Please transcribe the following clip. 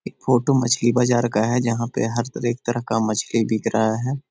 ये फोटो मछली बाजार का है । जहाँ पे हर तरह एक तरह का मछली बिक रहा है ।